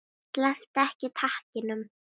Slepptu ekki takinu.